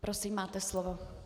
Prosím, máte slovo.